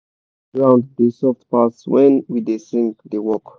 e be like ground da soft pass wen we da sing da work